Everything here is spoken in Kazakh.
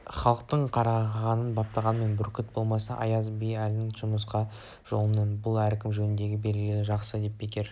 халық қарғаны баптағанмен бүркіт болмас аяз би әліңді құмырсқа жолыңды біл әркім өз жөнін білгені жақсы деп бекер